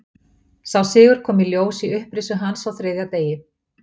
Sá sigur kom í ljós í upprisu hans á þriðja degi.